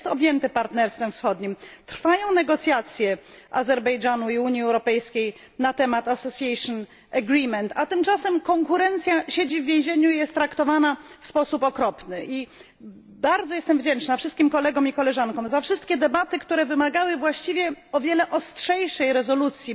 Jest objęty Partnerstwem Wschodnim. Trwają negocjacje Azerbejdżanu i Unii Europejskiej na temat umowy stowarzyszeniowej, a tym czasem konkurencja siedzi w więzieniu i jest traktowana w sposób okropny. Bardzo jestem wdzięczna wszystkim kolegom i koleżankom za wszystkie wystąpienia, które wymagały właściwie o wiele ostrzejszej rezolucji